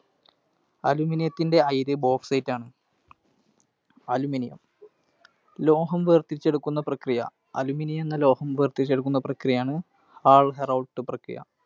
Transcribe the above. Aluminium ത്തിൻറെ അയിര് Bauxite ആണ്. Aluminium ലോഹം വേർതിരിച്ചു എടുക്കുന്ന പ്രക്രിയ. Aluminium എന്ന ലോഹം വേർതിരിച്ചു എടുക്കുന്ന പ്രക്രിയയാണ് Hall Heroult പ്രക്രിയ.